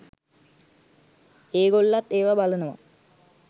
ඒගොල්ලත් ඒව බලනවා.